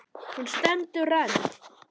Hún stendur enn.